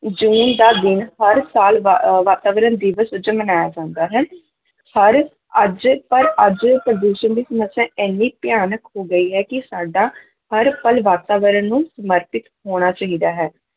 ਜੂਨ ਦਾ ਦਿਨ ਹਰ ਸਾਲ ਵਾ ਵਾਤਾਵਰਨ ਦਿਵਸ ਵਜੋਂ ਮਨਾਇਆ ਜਾਂਦਾ ਹੈ ਸਾਰੇ ਅੱਜ ਪਰ ਅੱਜ ਪ੍ਰਦੂਸ਼ਣ ਦੀ ਸਮੱਸਿਆ ਇੰਨੀ ਭਿਆਨਕ ਹੋ ਗਈ ਹੈ ਕਿ ਸਾਡਾ ਹਰ ਪਲ ਵਾਤਾਵਰਨ ਨੂੰ ਸਮਰਪਿਤ ਹੋਣਾ ਚਾਹੀਦਾ ਹੈ।